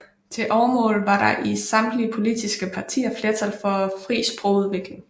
Til overmål var der i samtlige politiske partier flertal for en fri sprogudvikling